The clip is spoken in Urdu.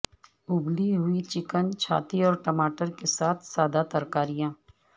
ابلی ہوئی چکن چھاتی اور ٹماٹر کے ساتھ سادہ ترکاریاں